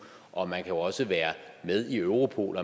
og man kan jo også være med i europol